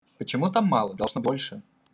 почему-то мало должно больше